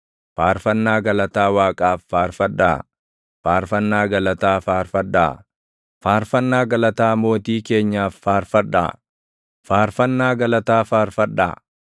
Faarfannaa galataa Waaqaaf faarfadhaa; faarfannaa galataa faarfadhaa; faarfannaa galataa Mootii keenyaaf faarfadhaa; faarfannaa galataa faarfadhaa.